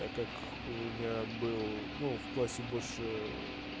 так как у меня был ну в классе больше